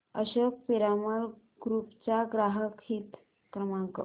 Ashok Piramal group चा ग्राहक हित क्रमांक